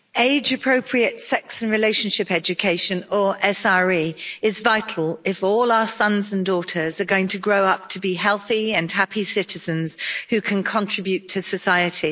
Mr President, age appropriate sex and relationship education or SRE is vital if all our sons and daughters are going to grow up to be healthy and happy citizens who can contribute to society.